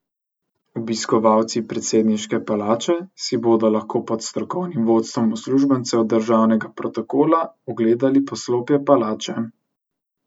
Obiskovalci predsedniške palače si bodo lahko pod strokovnim vodstvom uslužbencev državnega protokola ogledali poslopje palače.